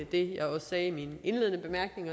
det jeg sagde i min indledende bemærkning